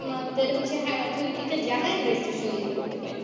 আমাদের হচ্ছে Higher authority জানিয়ে আমরা Station leave করতে পারি